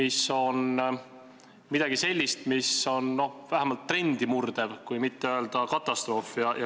See on midagi sellist, mis on vähemalt trendi murdev, kui mitte öelda katastroof.